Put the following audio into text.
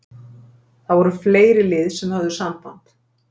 Það voru fleiri lið sem höfðu samband.